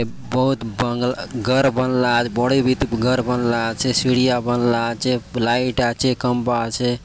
ये बहुत बंग घर बनला आचे बड़े बीतिन घर बनला आचे सीढ़ियाँ बनला आचे लाइट आचे खंबा आचे।